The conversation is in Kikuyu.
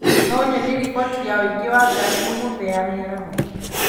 No ũnyonie riboti ya ũingĩ wa ngari ũmũthĩ ya mĩaraho